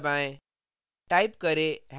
अब enter दबाएँ